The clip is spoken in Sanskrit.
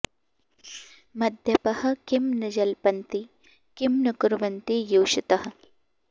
मद्यपाः किं न जल्पन्ति किं न कुर्वन्ति योषितः